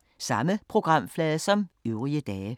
Samme programflade som øvrige dage